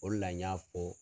O la n y'a fɔ